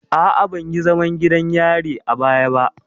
A'a, ban yi zaman gidan yari a baya ba.